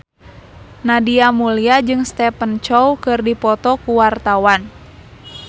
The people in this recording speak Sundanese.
Nadia Mulya jeung Stephen Chow keur dipoto ku wartawan